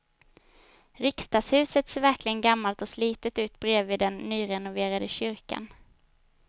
Riksdagshuset ser verkligen gammalt och slitet ut bredvid den nyrenoverade kyrkan.